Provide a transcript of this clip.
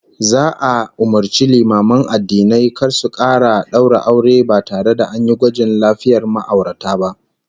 Za'a umurci limaman addinai kar su kara daura aure ba tare da an yi gwajin lafiyar ma'aurata ba